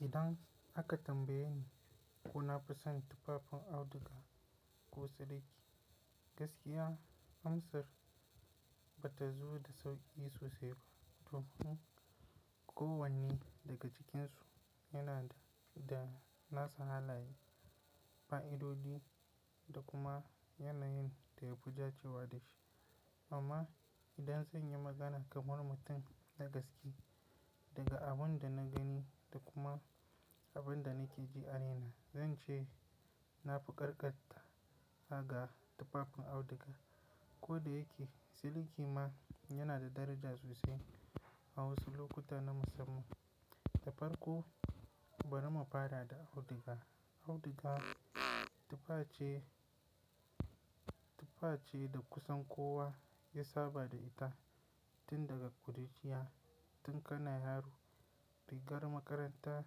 Idan aka tambaye ni ko nafi son tufafin auduga ko siliki? Gaskiya, amsar ba ta zo da sauƙi sosai ba. Domin kowanne daga cikinsu yana da nasa halaye, fa'idodi da kuma yanayin da yafi da cewa da shi. Amma idan zan yi magana kamar mutum na gaske, daga abin da na gani da kuma abin da na ke ji a raina, zan ce nafi karkata ga tufafin auduga. Ko da yake siliki ma yana da daraja sosai a wasu lokuta na musamman. Da farko, bari mu fara da auduga. Auduga tufa ce, tufa ce da kusan kowa ya saba da ita tun daga ƙuruciya. Tun kana yaro, rigar makaranta,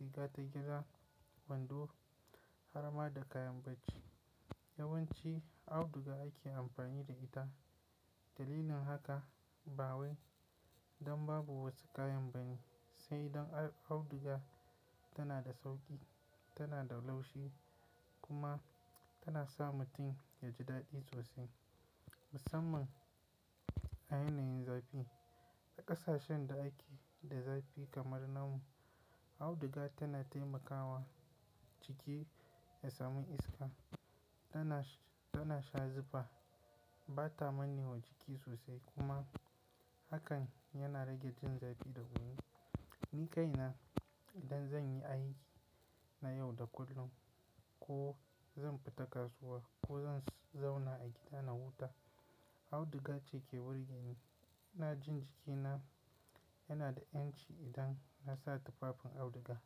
riga ta gida, wando, har ma da kayan bacci. Yawanci auduga ake amfani da ita. Dalilin haka, ba wai dan babu wasu kayan bane, sai dan auduga tana da sauƙi, tana da laushi kuma tana sa mutum ya ji daɗi sosai. Musamman a yanayin zafi. A ƙasashen da ake da zafi kamar na mu, auduga tana taimakawa jiki ya samu iska. Tana, tana sha zufa, ba ta manne wa jiki sosai kuma hakan yana rage jin zafi da wuri. Ni kaina idan zan yi aiki na yau da kullum ko zan fita kasuwa ko zan zauna a gida na huta, auduga ce ke burge ni. iNa jin jikina yana da ƴanci idan na sa tufafin auduga.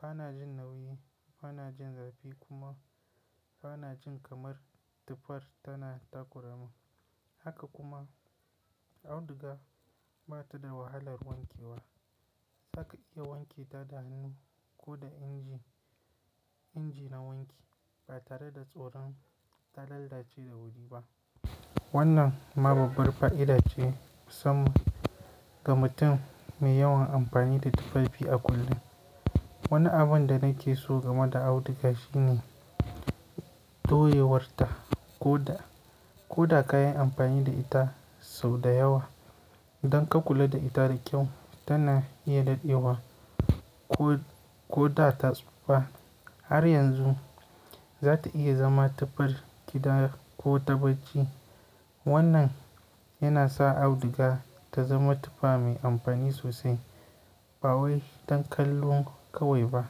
Ba na jin nauyi, ba na jin zafi kuma ba na jin kamar tufar tana takuramin. Haka kuma auduga ba ta da wahalar wanke wa. Zaka iya wanke ta da hannu ko da inji, inji na wanki ba tare da tsoron ta lalace da wuri ba. Wannan ma babbar fa'ida ce musamman ga mutum mai yawan amfani da tufafi a kullum. Wani abin da nake so game da auduga shine touyewar ta. Ko da, ko da kayi amfani da ita sau da yawa. Idan ka kula da ita da kyau, tana iya dadewa ko, ko da ta tsufa. Har yanzu za ta iya zama tufar gida ko ta bacci. Wannan yana sa auduga ta zama tufa mai amfani sosai. Ba wai dan kallo kawai ba,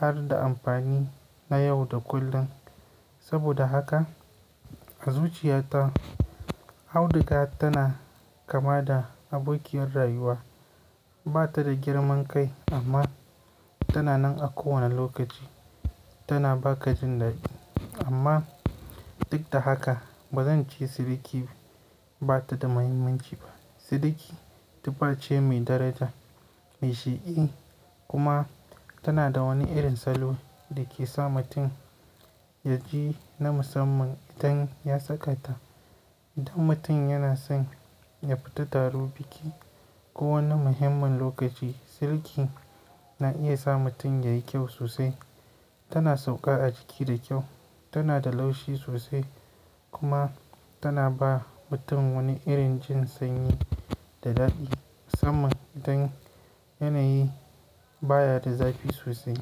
har da amfani na yau da kullun. Saboda haka a zuciyata auduga tana kama da abokiyar rayuwa. Ba ta da girman kai amma tana nan a kowane lokaci. Tana ba ka jin daɗi. Amma duk da haka ba zan ce siliki ba ta da muhimmanci ba. Siliki tufa ce mai daraja, mai shaiƙi, kuma tana da wani irin salo da ke sa mutum ya ji na musamman idan ya saka ta. Idan mutum yana son ya fita taro biki ko wani muhimmin lokaci, siliki na iya sa mutum ya yi kyau sosai. Tana sauƙa a jiki da kyau, tana da laushi sosai kuma tana ba mutum wani irin jin sanyi da daɗi. Musamman idan yanayi baya da zafi sosai.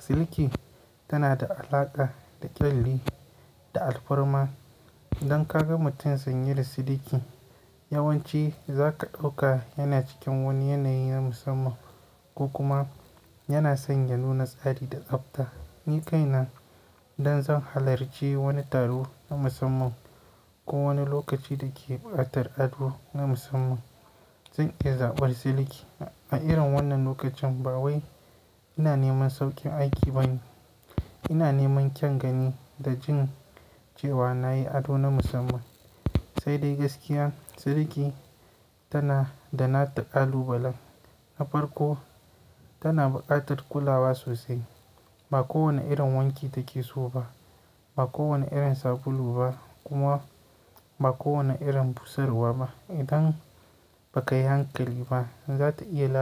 Siliki tana da alaƙa da ƙyalli da alfarma. Idan ka ga mutum sanye da siliki, yawanci zaka ɗauka yana cikin wani yanayi na musamman ko kuma yana son ya nuna tsari da tsafta. Ni kaina idan zan halarci wani taro na musamman ko wani lokaci da ke buƙatar ado na musamman, zan iya zaɓar siliki. A irin wannan lokacin ba wai ina neman sauƙin aiki bane. Ina neman kyan gani da jin cewa na yi ado na musamman. Sai dai gaskiya, siliki tana da nata ƙalubalan. Na farko, tana ɓatar kulawa sosai. Ba kowanne irin wanki take so ba, ba kowane irin sabulu ba kuma ba kowane irin busarwa ba. Idan ba ka yi hankali ba, za ta iya lalacewa.